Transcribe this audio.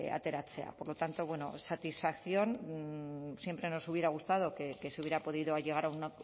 ateratzea por lo tanto bueno satisfacción siempre nos hubiera gustado que se hubiera podido llegar a un